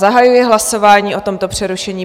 Zahajuji hlasování o tomto přerušení.